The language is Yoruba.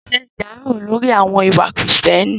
Ṣe ìdárò lórí àwọn ìwà kìrììtẹ́nì